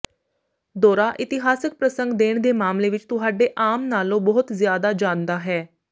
ਦੌਰਾ ਇਤਿਹਾਸਕ ਪ੍ਰਸੰਗ ਦੇਣ ਦੇ ਮਾਮਲੇ ਵਿਚ ਤੁਹਾਡੇ ਆਮ ਨਾਲੋਂ ਬਹੁਤ ਜ਼ਿਆਦਾ ਜਾਂਦਾ ਹੈ